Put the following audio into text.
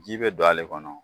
Ji be don ale kɔnɔ